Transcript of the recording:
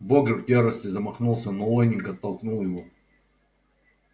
богерт в ярости замахнулся но лэннинг оттолкнул его